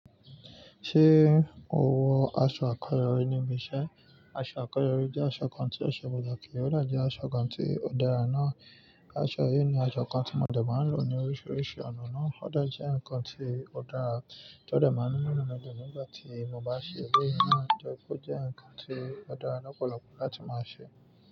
Ṣé mo wọ aṣọ àkọ́rọ̀ rẹ níbi iṣẹ́? Aṣo akọ́yori jẹ́ aṣọ kan tí ose pataki ọ de jẹ́ aṣọ kan tí ó dára ná. Aṣọ yìí ni aṣọ kan tí ọmọdé máa ń lò ní oríṣiríṣi ọ̀nà náà. Ó dà jẹ́ ǹkan tí ó dára tí ọdé máa ń mú inu midun nígbà tí mo bá ṣe eleyi náà tori pé ó jẹ́ ǹkan tí ó dára lọ́pọ̀lọpọ̀ láti máa ṣe.